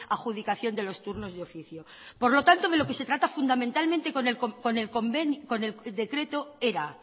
adjudicación de los turnos de oficio por lo tanto de lo que se trata fundamentalmente con el decreto era